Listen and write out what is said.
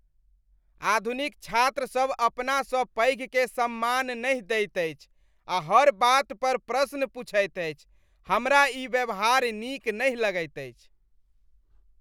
आधुनिक छात्रसभ अपनासँ पैघकेँ सम्मान नहि दैत अछि आ हर बात पर प्रश्न पुछैत अछि, हमरा ई व्यवहार नीक नहि लगैत अछि।